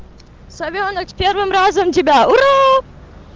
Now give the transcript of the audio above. совёнок первым разом тебя